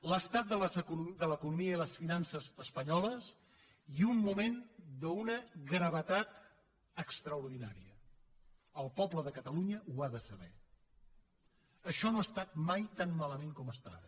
l’estat de l’economia i les finances espanyoles i un moment d’una gravetat extraordinària el poble de catalunya ho ha de saber això no ha estat mai tan malament com està ara